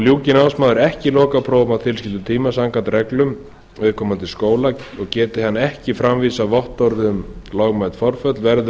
ljúki námsmaður ekki lokaprófum á tilskildum tíma samkvæmt reglum viðkomandi skóla og geti hann ekki framvísað vottorði um lögmæt forföll verður ekki